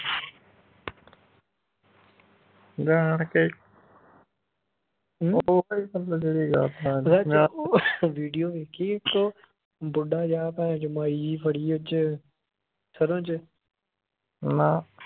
ਵਿਚ ਉਹ video ਵੇਖੀ ਇਕ ਉਹ ਬੁੱਢਾ ਜਿਹਾ ਭੈਨਚੋ ਮਾਈ ਜਿਹੀ ਫੜੀ ਵਿਚ ਸਰੋਂ ਚ